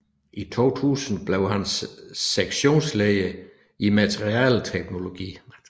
I 2000 blev han sektionsleder i materialeteknologi